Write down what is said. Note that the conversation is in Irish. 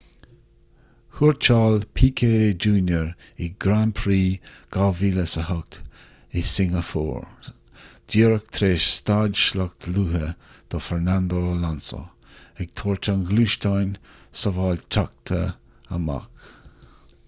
thuairteáil piquet jr in grand prix 2008 shingeapór díreach tar éis stad sloic luath do fernando alonso ag tabhairt an ghluaisteáin shábháilteachta amach